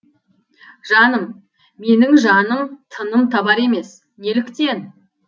жаным менің жаным тыным табар емес неліктен